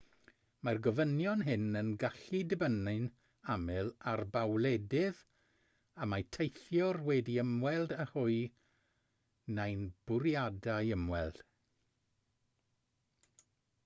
mae'r gofynion hyn yn gallu dibynnu'n aml ar ba wledydd y mae teithiwr wedi ymweld â hwy neu'n bwriadu ymweld